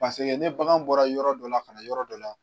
Paseke ni bagan bɔra yɔrɔ dɔ la, ka na yɔrɔ dɔ la